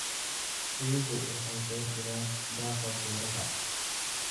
Riyuhu waxay door bidaan daaqa buuraha.